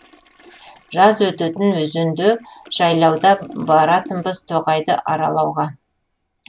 жаз өтетін өзенде жайлауда баратынбыз тоғайды аралауға